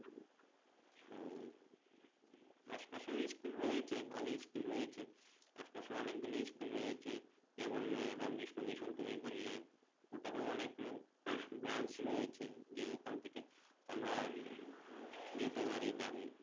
আশপাশেও school রয়েছে ভালো school রয়েছে আশপাশে অনেকগুলো school রয়েছে যেমন রামকৃষ্ণ mission তুমি বললে ওটার অনেক brance রয়েছে যে ওখান থেকে আমরা যেতে পারি বা